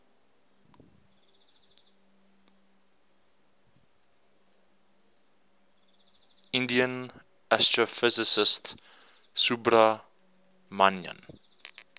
indian astrophysicist subrahmanyan